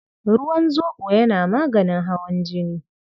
Ruwan zoɓo yana maganin hawan jini.